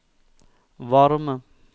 varme